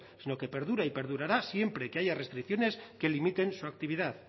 sino que perdura y perdurará siempre que haya restricciones que limiten su actividad